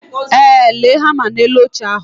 Ee, lee hama na elu oche ahu